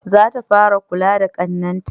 Za ta fara kula da ƙannen ta